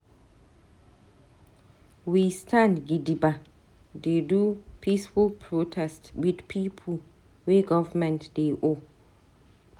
We stand gidigba dey do peaceful protest with pipo wey government dey owe.